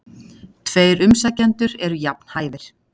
Tveir umsækjendur eru jafn hæfir.